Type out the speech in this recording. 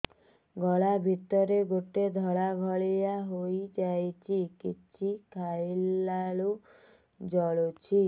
ଗଳା ଭିତରେ ଗୋଟେ ଧଳା ଭଳିଆ ହେଇ ଯାଇଛି କିଛି ଖାଇଲାରୁ ଜଳୁଛି